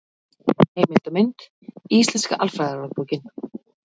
Heimild og mynd: Íslenska alfræðiorðabókin.